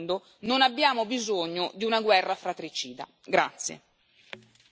Siamo già in concorrenza con il resto del mondo, non abbiamo bisogno di una guerra fratricida.